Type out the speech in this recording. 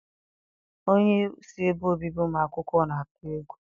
Onyeisi ebe obibi ụmụ akwụkwọ na-atụ egwu.